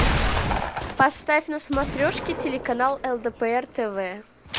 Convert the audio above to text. поставь на смотрешке телеканал лдпр тв